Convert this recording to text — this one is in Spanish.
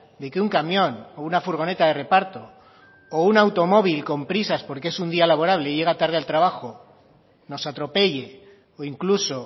de que un camión o una furgoneta de reparto o un automóvil con prisas porque es un día laborable y llega tarde al trabajo nos atropelle o incluso